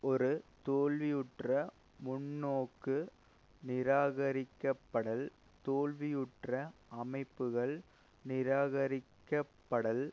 ஒரு தோல்வியுற்ற முன்னோக்கு நிராகரிக்கப்படல் தோல்வியுற்ற அமைப்புக்கள் நிராகரிக்கப்படல்